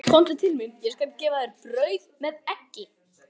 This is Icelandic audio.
Komdu til mín, ég skal gefa þér brauð með eggi.